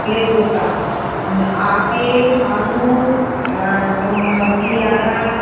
ফলের দোকান। আপেল আঙ্গুর আহ দ পিয়ারা-আ --